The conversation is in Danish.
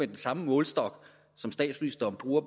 den samme målestok som statsministeren bruger